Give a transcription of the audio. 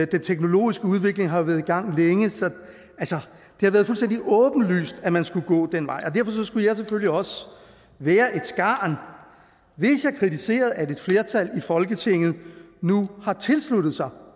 den teknologiske udvikling har været i gang længe så det har været fuldstændig åbenlyst at man skulle gå den vej og derfor skulle jeg selvfølgelig også være et skarn hvis jeg kritiserede at et flertal i folketinget nu har tilsluttet sig